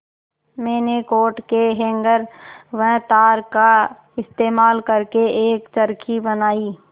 मैंने कोट के हैंगर व तार का इस्तेमाल करके एक चरखी बनाई